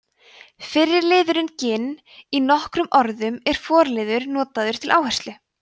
fyrri liðurinn ginn í nokkrum orðum er forliður notaður til áherslu